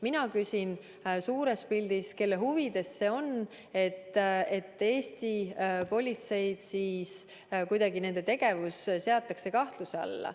Mina küsin, kelle huvides see lõppude lõpuks on, kui Eesti politsei tegevust seatakse kahtluse alla.